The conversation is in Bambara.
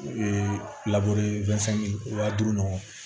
U ye wa duuru ɲɔgɔn